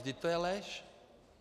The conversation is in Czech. Vždyť to je lež!